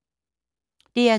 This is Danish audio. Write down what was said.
DR2